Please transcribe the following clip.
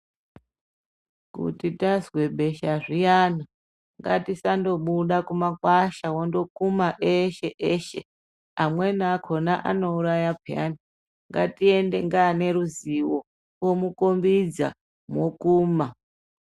Kuti tazwe besha zviyani ngatisandobuda kumakwasha wondokuma eshe eshe amweni akhona anouraya payani ngatiende ngaane ruziwo omukhombidza mwokuma.